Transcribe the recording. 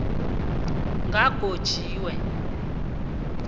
kagotjiwe